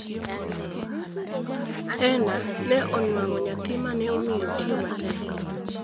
Heena ne onuang'o nyathi ma ne omiyo otiyo matek.